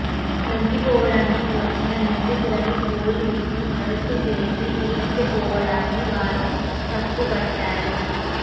లొంగిపోవడానికి వచ్చిన నిందితులను పోలీసులు అరెస్టు చేసి ఈడ్చుకుపోవడాన్ని వారు తప్పుబట్టారు